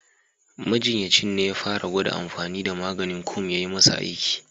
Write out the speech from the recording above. Majinyacin ne ya fara gwada amfani da maganin kum ya yi masa aiki.